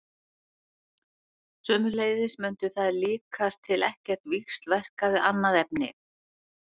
Sömuleiðis mundu þær líkast til ekkert víxlverka við annað efni.